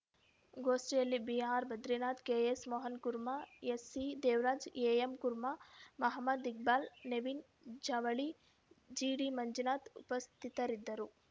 ಗೋಷ್ಠಿಯಲ್ಲಿ B R Badrinath K S Mohan Kurma S C ದೇವರಾಜ್‌ಎ M Kurma Mohammed Iqbal Naveen ಜವಳಿ ಜಿಡಿಮಂಜುನಾಥ್‌ ಉಪಸ್ಥಿತರಿದ್ದರು